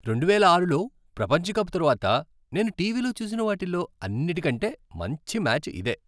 రెండువేల ఆరులో ప్రపంచ కప్ తర్వాత నేను టీవీలో చూసిన వాటిల్లో అన్నిటికంటే మంచి మ్యాచ్ ఇదే.